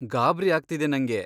ಗಾಬ್ರಿ ಆಗ್ತಿದೆ ನಂಗೆ.